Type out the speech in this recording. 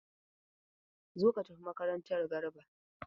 Zo ka tafi makaranta!r Garba